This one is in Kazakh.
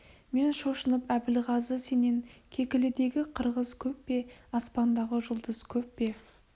мен шошынып әбілғазы сенен кекілідегі қырғыз көп пе аспандағы жұлдыз көп пе